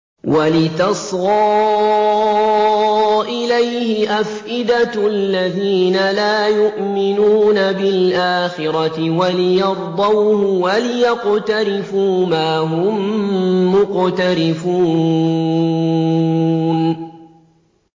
وَلِتَصْغَىٰ إِلَيْهِ أَفْئِدَةُ الَّذِينَ لَا يُؤْمِنُونَ بِالْآخِرَةِ وَلِيَرْضَوْهُ وَلِيَقْتَرِفُوا مَا هُم مُّقْتَرِفُونَ